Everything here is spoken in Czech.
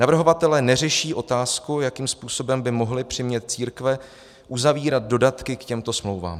Navrhovatelé neřeší otázku, jakým způsobem by mohli přimět církve uzavírat dodatky k těmto smlouvám.